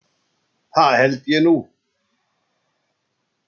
Það held ég nú.